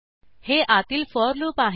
हे आतील for loop आहे